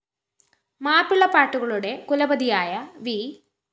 മാപ്പിള പാട്ടുകളുടെ കുലപതിയായ വി